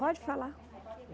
Pode falar.